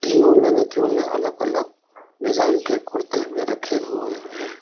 तीनों मैनिक्विन में अलग अलग डिज़ाइन के कुर्ते भी रखे हुए हैं।